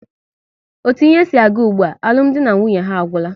Otu ihe si aga ụgbụa, alụmdi na nwunye ha agwụla